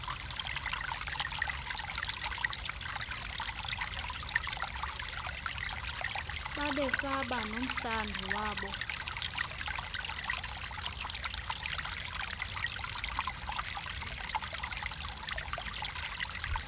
babesaba nomhlambi wabo